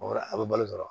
Wa a bɛ balo dɔrɔn